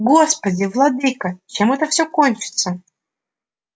господи владыко чем это все кончится